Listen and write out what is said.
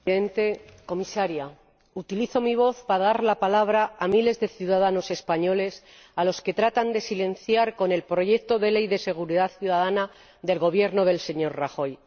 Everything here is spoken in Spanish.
Señor Presidente, señora Comisaria, utilizo mi voz para dar la palabra a miles de ciudadanos españoles a los que tratan de silenciar con el proyecto de Ley de seguridad ciudadana del Gobierno del señor Rajoy.